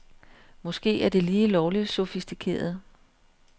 Måske er det lige lovligt sofistikeret.